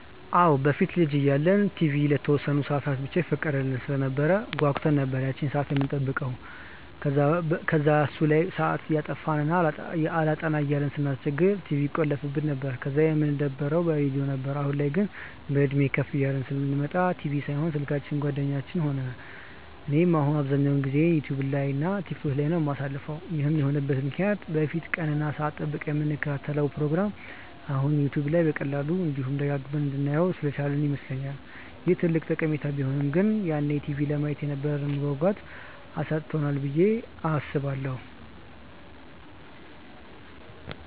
አዎ። በፊት ልጅ እያለን ቲቪ ለተወሰነ ሰአት ብቻ ይፈቀድልን ስለነበር ጓጉተን ነበር ያቺን ሰአት የምንጠብቀው። ከዛ እሱ ላይ ሰአት እያጠፋን እና አላጠና እያልን ስናስቸግር ቲቪውን ይቆልፉብን ነበር፤ ከዛ የምንደበረው በሬድዮ ነበር። አሁን ላይ ግን፤ በእድሜም ከፍ እያልን ስንመጣ ቲቪ ሳይሆን ስልካችን ጓደኛ ሆነን። እኔም አሁን አብዛኛውን ጊዜዬን ዩትዩብ እና ቲክቶክ ላይ ነው የማሳልፈው። ይህም የሆነበት ምክንያት በፊት ቀን እና ሰአት ጠብቀን የምንከታተለውን ፕሮግራም አሁን ዩትዩብ በቀላሉ፤ እንዲሁም ደጋግመን እንድናየው ስላስቻለን ይመስለኛል። ይህ ትልቅ ጠቀሜታው ቢሆንም ግን ያኔ ቲቪ ለማየት የነበረንን መጓጓት አሳጥቶናል ብዬ አስባለሁ።